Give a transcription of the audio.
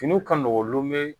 Finiw ka nɔgɔn lume